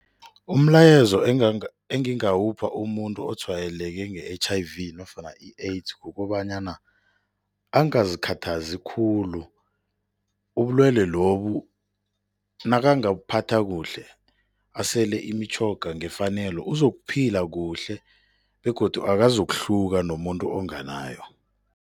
Umlayezo engingawupha umuntu otshwayeleke nge-H_I_V nofana i-AIDS kukobanyana, angazikhathazi khulu. Ubulwele lobu nakangabuphatha kuhle, asele imitjhoga ngefanelo uzokuphila kuhle begodu akazokuhluka nomuntu onganayo.